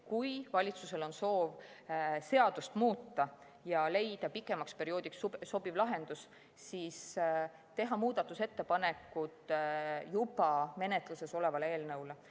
Kui valitsusel on soov seadust muuta ja leida pikemaks perioodiks sobiv lahendus, siis tuleks teha muudatusettepanekud juba menetluses oleva eelnõu kohta.